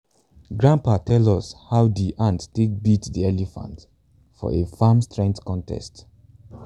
grandpa tell us how de ant take beat de elephant for a farm strength contest